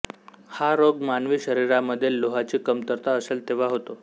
हा रोग मानवी शरीरामध्ये लोहाची कमतरता असेल तेव्हा होतो